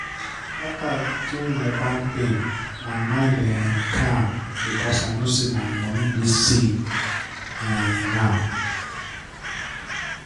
after i change my bank pin my mind um calm because i know say my money dey safe um now